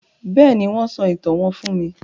Béèni, wón sọ ìtàn wón fún mí